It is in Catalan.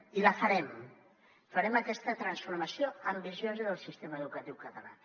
i la farem farem aquesta transformació ambiciosa del sistema educatiu català